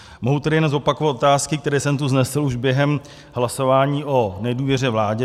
Mohu tedy jen zopakovat otázky, které jsem tu vznesl už během hlasování o nedůvěře vládě.